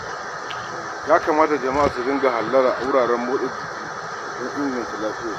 Ya kamata jama'a su dinga hallara wuraren motsa jiki don inganta lafiyarsu.